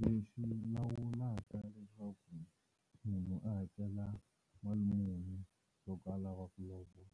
Lexi lawulaka leswaku munhu a hakela mali muni loko a lava ku lovola,